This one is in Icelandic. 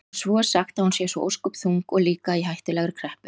Og svo er sagt að hún sé svo ósköp þung og líka í hættulegri kreppu.